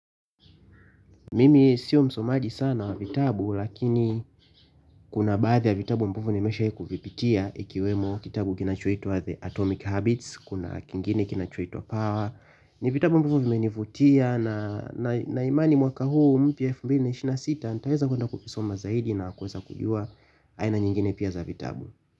Mimi sio msomaji sana wa vitabu lakini kuna baadhi ya vitabu ambavyo nimeshawai kuvipitia ikiwemo kitabu kinachoitwa the atomic habits kuna kingine kinachoitwa power ni vitabu ambavyo vimenivutia na na imani mwaka huu mpya elfu mbili ishirini na sita ntaeza kwenda kuvisoma zaidi na kuweza kujua aina nyingine pia za vitabu.